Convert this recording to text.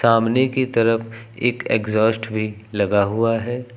सामने की तरफ एक एग्जास्ट भी लगा हुआ है।